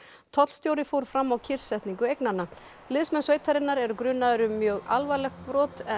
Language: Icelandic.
tollstjóri fór fram á kyrrsetningu eignanna liðsmenn sveitarinnar eru grunaðir um mjög alvarlegt brot en